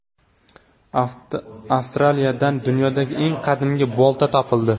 Avstraliyadan dunyodagi eng qadimgi bolta topildi.